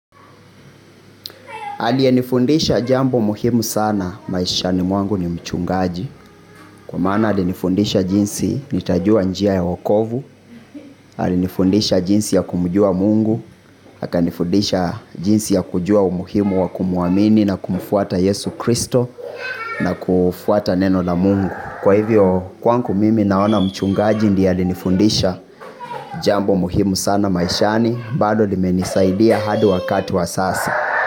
Aliyenifundisha jambo muhimu sana maishani mwangu ni mchungaji. Kwa maana alinifundisha jinsi nitajua njia ya wakovu. Alinifundisha jinsi ya kumjua mungu akanifundisha jinsi ya kujua umuhimu wa kumuamini na kumfuata yesu kristo. Na kufuata neno na mungu. Kwa hivyo kwangu mimi naona mchungaji ndie alinifundisha jambo muhimu sana maishani. Bado limenisaidia hadi wakati wa sasa.